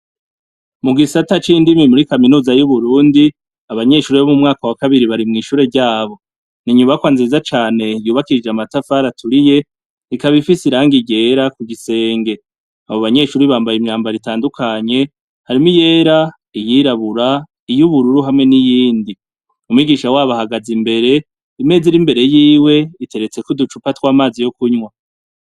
Mugisata c indimi muri kaminuza yu Burundi, abanyeshure bo mu wa kabiri bari mwishure ryabo, inyubakwa nziza cane yubakishij' amatafar'aturiye ikab'ifis' irangi ryera n'igisenge, abo banyeshure bambay' imyambaro itandukanye harimw'iyera, iyirabura, iyubururu hamwe niyindi, umwigisha wab' ahagaz' imbere, imez' irimbere yiw' iteretsek' uducupa tw'amazi yukunywa.